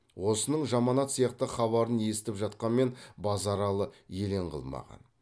осының жаманат сияқты хабарын естіп жатқанмен базаралы елең қылмаған